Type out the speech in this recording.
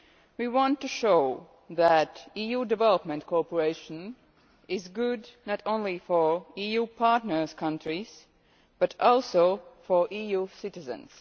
We want to show that EU development cooperation is good not only for EU partner countries but also for EU citizens.